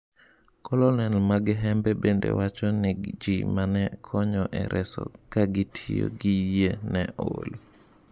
Colonel Maghembe bende wacho ni ji mane konyo e reso ka gitiyo gi yie ne ol.